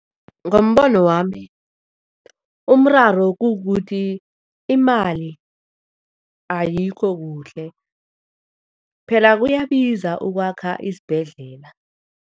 Ngombono wami, umraro kukuthi imali ayikho kuhle. Phela kuyabiza ukwakha isibhedlela.